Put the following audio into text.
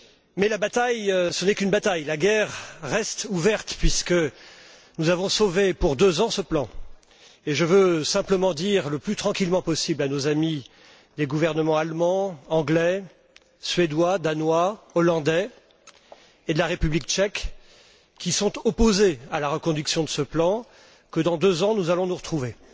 Mais ce n'est qu'une bataille, la guerre reste ouverte, puisque nous avons sauvé ce plan pour deux ans. Je veux simplement dire, le plus tranquillement possible, à nos amis les gouvernements allemand, anglais, suédois, danois, néerlandais et de la République tchèque, qui sont opposés à la reconduction de ce plan, que dans deux ans nous allons nous retrouver.